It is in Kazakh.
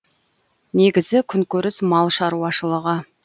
негізгі күнкөріс мал шаруашылығы